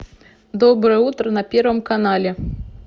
доброе утро на первом канале